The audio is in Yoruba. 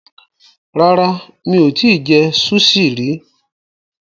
Rárá, mi ò tí ì jẹ súṣì rí.